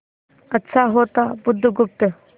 अच्छा होता बुधगुप्त